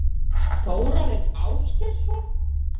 Þórarinn Ásgeirsson?